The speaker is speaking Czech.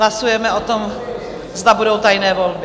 Hlasujeme o tom, zda budou tajné volby.